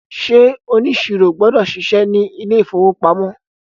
ṣe oniṣiro gbọdọ ṣiṣẹ ní ilè ìfowópamọ́?